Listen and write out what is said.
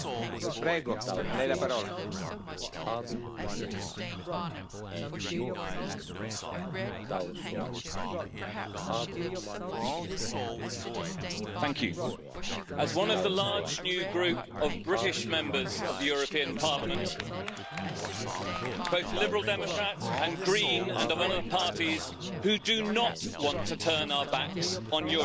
Mr President, as one of the large new group of British Members of the European Parliament, both Liberal Democrat and Green and from other parties, who do not want to turn our backs on Europe,